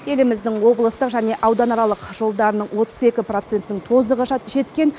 еліміздің облыстық және ауданаралық жолдарының отыз екі процентінің тозығы жеткен